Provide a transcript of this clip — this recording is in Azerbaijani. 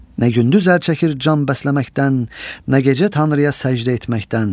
Nə gündüz əl çəkir can bəsləməkdən, nə gecə tanrıya səcdə etməkdən.